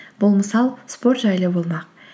бұл мысал спорт жайлы болмақ